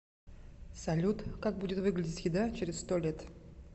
салют как будет выглядеть еда через сто лет